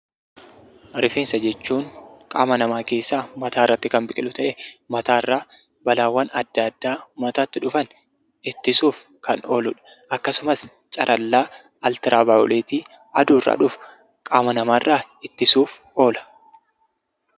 Rifeensa jechuun qaama namaa keessaa mataa irratti kan biqilu ta'ee mataa irraa balaawwan adda addaa mataatti dhufan ittisuuf kan ooludha. Akkasumas carallaa altiraavaayooleetii aduurraa dhufu qaama namaa irraa ittisuuf oola.